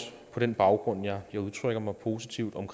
på den baggrund at jeg udtrykker mig positivt om